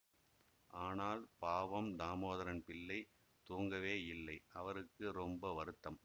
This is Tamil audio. ஆனால் பாவம் தாமோதரம் பிள்ளை தூங்கவேயில்லை அவருக்கு ரொம்ப வருத்தம்